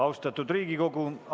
Austatud Riigikogu!